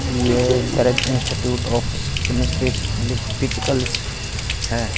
ये institute of chemistries लीख physicals है।